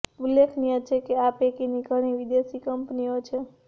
ઉલ્લેખનીય છે કે આ પૈકીની ઘણી વિદેશી કંપનીઓ છે